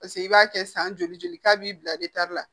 Paseke i b'a kɛ san joli joli k'a b'i bila la